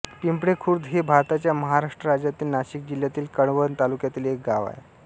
पिंपळेखुर्द हे भारताच्या महाराष्ट्र राज्यातील नाशिक जिल्ह्यातील कळवण तालुक्यातील एक गाव आहे